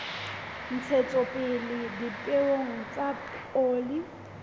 ntshetsopele ya dipeo tsa oli